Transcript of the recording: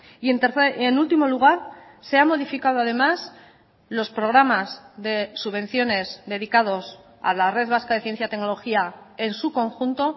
y en último lugar se ha modificado además los programas de subvenciones dedicados a la red vasca de ciencia tecnología en su conjunto